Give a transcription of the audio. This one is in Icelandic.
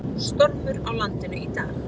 Stormur á landinu í dag